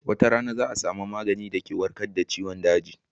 Wata rana za a samu maganin da ke warkad da ciwon daji